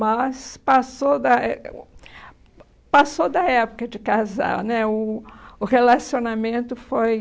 Mas passou da é o passou da época de casar né, o o relacionamento foi...